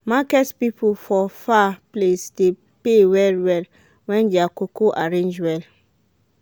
market people for far place de pay well well when their cocoa arrange well